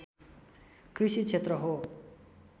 कृषि क्षेत्र हो